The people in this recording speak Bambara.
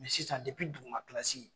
sisan duguma kilasi.